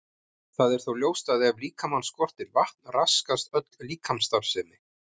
Það er þó ljóst að ef líkamann skortir vatn raskast öll líkamsstarfsemi.